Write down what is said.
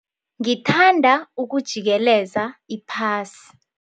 Ngingathanda ukujikeleza iphasi.